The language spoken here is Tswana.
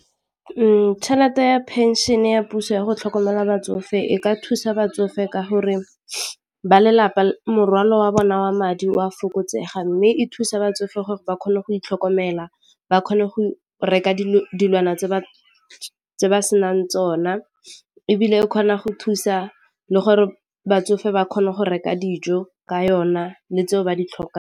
Tšhelete ya phenšene ya puso yago tlhokomela batsofe e ka thusa batsofe ka gore ba lelapa morwalo wa bona wa madi o a fokotsega mme e thusa batsofe gore ba kgone go itlhokomela ga ba kgone go reka dilwana tse senang tsona ebile o kgona go thusa le gore batsofe ba kgone go reka dijo ka yona le tseo ba di tlhokang.